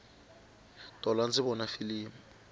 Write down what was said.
tolo andzi vona filimi